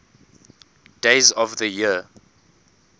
days of the year